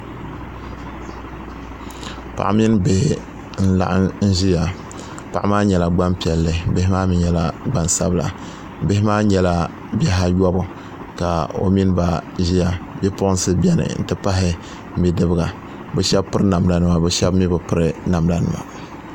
Paɣa mini bihi n laɣam n ʒiya paɣa maa nyɛla Gbanpiɛli bihi maa mii nyɛla gbansabila bihi maa nyɛla bihi ayobu ka o mini ba ʒiya bipuɣunsi biɛni n ti pahi bidibga bi shab piri namda nima bi shab mii bi piri namda nima